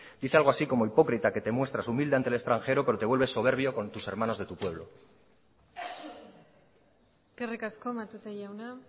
dice algo así como hipócrita que te muestras humilde ante el extranjero pero te vuelves soberbio con tus hermanos de tu pueblo eskerrik asko matute jauna